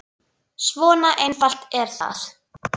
Svona einfalt er það.